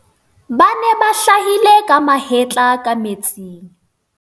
ba ne ba hlahile ka mahetla ka metsing